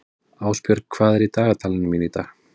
Ásbjörg, hvað er í dagatalinu mínu í dag?